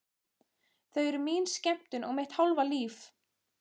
Þau eru mín skemmtun og mitt hálfa líf.